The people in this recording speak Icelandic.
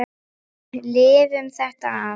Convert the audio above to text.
Við lifum þetta af.